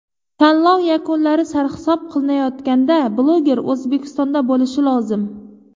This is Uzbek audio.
Tanlov yakunlari sarhisob qilinayotganda bloger O‘zbekistonda bo‘lishi lozim.